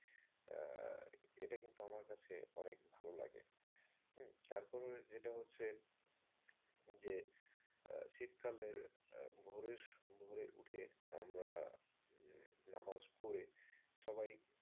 এটা কিন্তু আমার কাছে অনেক ভালো লাগে। তারপরে যেটা হচ্ছে যে শীতকালে ভোরে ভোরে উঠে আমার নামাজ পড়ে সবাই,